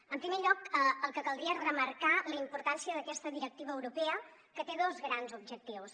en primer lloc el que caldria és remarcar la importància d’aquesta directiva eu·ropea que té dos grans objectius